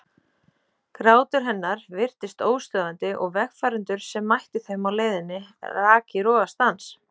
Grátur hennar virtist óstöðvandi og vegfarendur sem mættu þeim á leiðinni rak í rogastans.